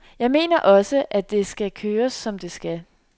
Jeg mener også, at det kører som det skal.